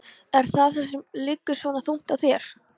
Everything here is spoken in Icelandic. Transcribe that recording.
Er það það sem liggur svona þungt á þér?